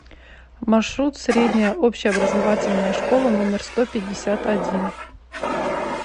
маршрут средняя общеобразовательная школа номер сто пятьдесят один